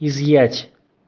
изъять